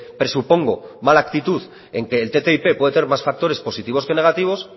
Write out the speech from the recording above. presupongo mala actitud en que el ttip pueda ser más factores positivos que negativos